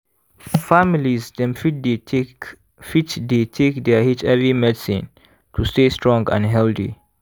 families dem fit dey take fit dey take their hiv medicine to stay strong and healthy